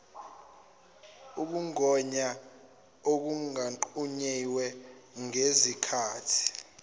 ukugonywa okungqunyiwe ngezikhati